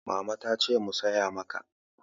Mama ta ce mu saya maka.